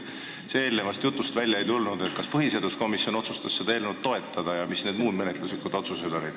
Eelnevast jutust ei tulnud välja, kas põhiseaduskomisjon otsustas seda eelnõu toetada ja millised olid muud menetluslikud otsused.